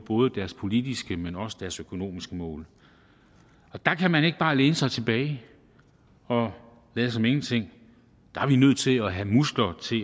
både deres politiske men også deres økonomiske mål og der kan man ikke bare læne sig tilbage og lade som ingenting der er vi nødt til at have muskler til